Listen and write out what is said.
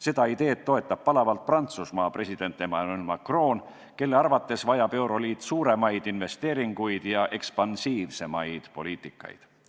Seda ideed toetab palavalt Prantsusmaa president Emmanuel Macron, kelle arvates vajab euroliit suuremaid investeeringuid ja ekspansiivsemaid poliitikaid.